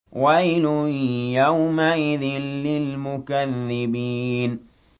وَيْلٌ يَوْمَئِذٍ لِّلْمُكَذِّبِينَ